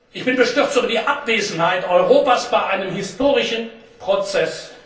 Ich bin bestürzt über die Abwesenheit Europas bei einem historischen Prozess.